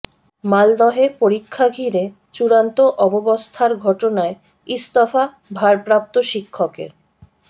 মালদহে পরীক্ষা ঘিরে চূড়ান্ত অব্যবস্থার ঘটনায় ইস্তফা ভারপ্রাপ্ত শিক্ষকের